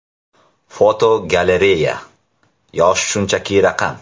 Fotogalereya: Yosh shunchaki raqam.